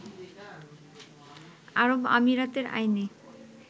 আরব আমিরাতের আইনে